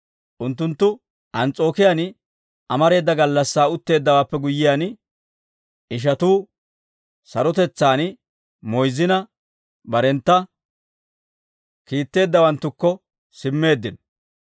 Unttunttu Ans's'ookiyaan amareeda gallassaa utteeddawaappe guyyiyaan, ishatuu sarotetsaan moyzzina, barentta kiitteeddawanttukko simmeeddino.